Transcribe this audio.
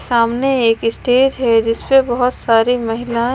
सामने एक स्टेज है जिसपे बहोत सारी महिला--